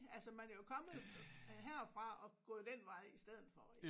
Altså man er jo kommet herfra og gået den vej i stedet for